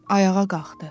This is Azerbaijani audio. Ayağa qalxdı.